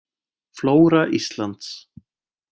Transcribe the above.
Flóra Íslands.